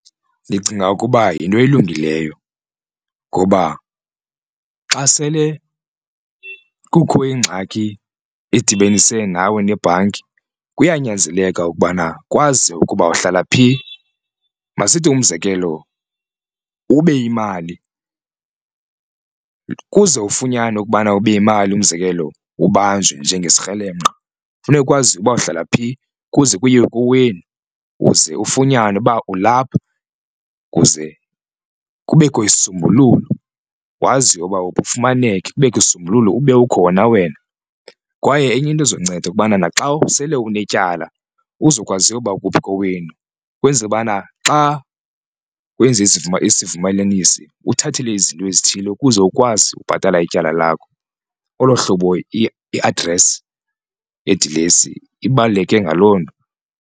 Ndicinga ukuba yinto elungileyo ngoba xa sele kukho ingxaki edibenise nawe nebhanki kuyanyanzeleka ukubana kwaziwe ukuba uhlala phi, masithi umzekelo ube imali kuze ufunyanwe ukubana ube yimali umzekelo ubanjwe njengesikrelemnqa funeka kwaziwe uba uhlala phi kuze kuyiwe kowenu uze ufunyanwe uba ulapha kuze kubekho isisombululo waziwe ukuba ufumaneke kubekho isisombululo ube ukhona wena. Kwaye enye into izokunceda ukubana naxa sele unetyala uzokwazi uba kuphi kowenu kwenzele ubana xa wenze isivumelanisi uthathelwe izinto ezithile ukuze ukwazi ukubhatala ityala lakho olo hlobo i-address idilesi ibaluleke ngaloo.